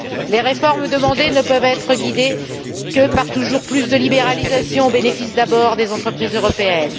Les réformes demandées ne peuvent être guidées par toujours plus de libéralisation au bénéfice d'abord des entreprises européennes.